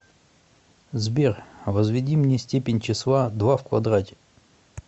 сбер возведи мне степень числа два в квадрате